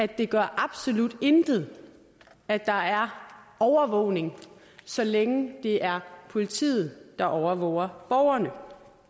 det gør absolut intet at der er overvågning så længe det er politiet der overvåger borgerne